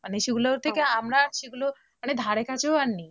মানে সেগুলো থেকে আমরা সেগুলো ধারে কাছেও আর নেই